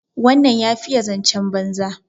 wannan ya fiye zancen banza